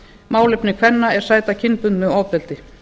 málefni kvenna er sæta kynbundnu ofbeldi